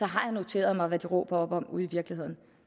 har jeg noteret mig hvad de råber op om ude i virkeligheden